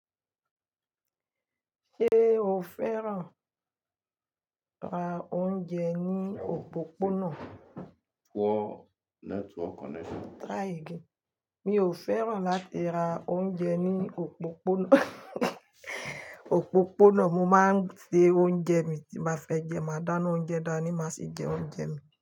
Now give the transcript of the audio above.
Ṣé o fẹ́ràn ra oúnjẹ ní òpópónà? Mi ò fẹ́ràn láti ra oúnjẹ ní òpópónà, òpópónà mo máa ń se oúnjẹ mi tí n bá fẹ́ jẹẹ́, màá dáná oúnjẹ dání màá sì jẹ oúnjẹ mi.